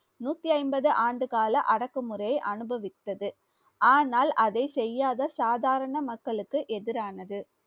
நூத்தி ஐம்பது ஆண்டுகால அடக்குமுறை அனுபவித்தது. ஆனால் அதை செய்யாத சாதாரண மக்களுக்கு எதிரானது